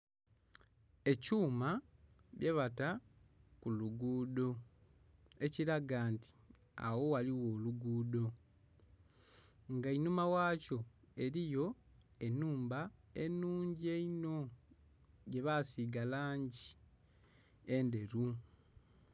Ekyuma kyebata ku lugudho ekilaga nti agho ghaligho olugudho nga einhuma ghakyo eriyo enhumba enhungi einho gye bagisiiga kumbali langi endheru.